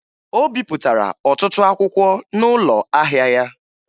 O bipụtara ọtụtụ akwụkwọ n'ụlọ ahịa ya